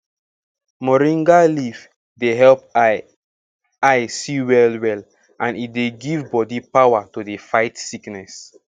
moringa leaf dey help eye eye see well well and e dey give bodi power to dey fight sickness